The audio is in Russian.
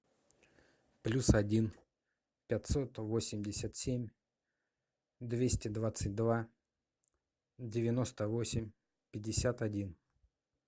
плюс один пятьсот восемьдесят семь двести двадцать два девяносто восемь пятьдесят один